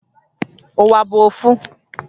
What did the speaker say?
Uwa bu ofu